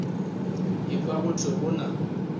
ekwa go thwe go na